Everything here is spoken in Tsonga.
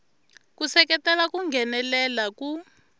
ku seketela ku nghenelela ku